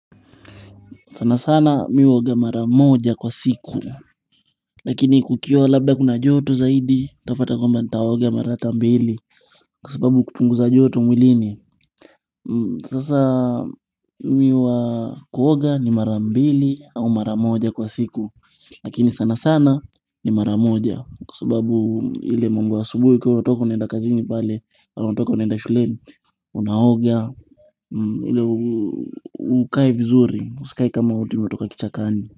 Sana sana mimi huoga mara moja kwa siku. Lakini kukiwa labda kuna joto zaidi, utapata kwamba nitaoga mara hata mbili. Kwa sababu kupunguza joto mwilini. Sasa mimi huwa kuoga ni mara mbili au mara moja kwa siku. Lakini sana sana ni mara moja. Kwa sababu ile mambo ya asubuhi ukiwa watoka unaenda kazini pale. Au watoka unaenda shuleni. Unaoga, ili ukae vizuri, usikae kama eti umetoka kichakani.